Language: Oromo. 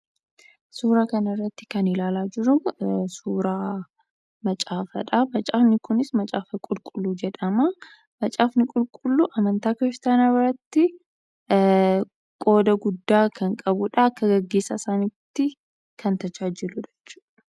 Suuraa kana irratti kan ilaalaa jirru suuraa 'macaafaa'dha. macaafni kunis macaafa qulqulluu jedhama. Macaafni qulqulluu amantaa Kiristaanaa biratti qooda guddaa kan qabuudha. Akka gaggeessaa isaaniitti kan tajaajiluudha jechuudha.